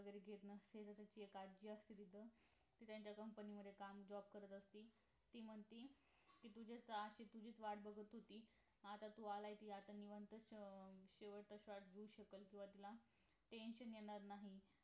वैगेरे घेत नसते जस तिथे एक आजी असते तिथं ती त्याच्या company मध्ये काम job करत असते ती म्हणते ती तुझ्यासाठी तुझीच वाट बाघत होती आता तू आला आहेस आता निवांत शेवटचा श्वास घेऊ शकाल किंवा तिला tension येणार नाही